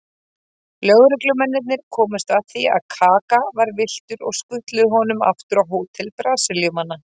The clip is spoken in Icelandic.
Lögreglumennirnir komust að því að Kaka var villtur og skutluðu honum aftur á hótel Brasilíumanna.